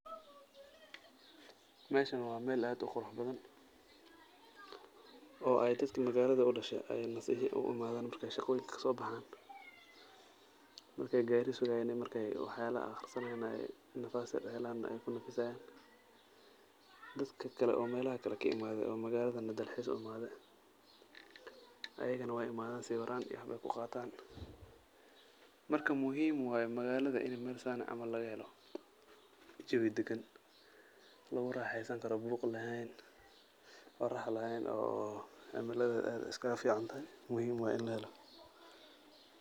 Meeshan waa meel aad u qurux badan oo ay dadka magaalada u dhashay ay nasasho u imaadaan marka ay shaqooyinka ka soo baxaan. Marka ay gaari sugayaan iyo marka ay waxyaalo akhrisanayaan ay nafas helaan, ay kunafisayaan. Dadka kale oo meelaha ka yimaadey oo magaalada dalxiis u imaadey, ayigana waay imaadaan sawiraan iyo wax bay ku qaataan. Marka, muhiim waay magaalada in meel saan ah camal lagahelo. Jawi degan lagu raaxeysankaro, buuq laheen, ama orax laheen oo cimiladeeda aad iskaga fiicantahay, muhiim waay in lahelo.